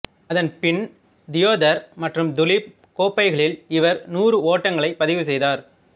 அதன் பின் தியோதர் மற்றும் துலீப் கோப்பைகளில் இவர் நூறு ஓட்டங்களைப் பதிவு செய்தார்